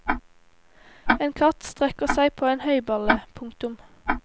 En katt strekker seg på en høyballe. punktum